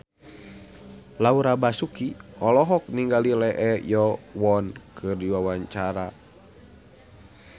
Laura Basuki olohok ningali Lee Yo Won keur diwawancara